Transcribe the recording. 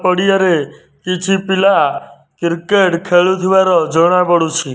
ଓଡ଼ିଆ ରେ କିଛି ପିଲା କ୍ରିକେଟ୍ ଖେଳୁଥିବାର ଜଣା ପଡୁଛି।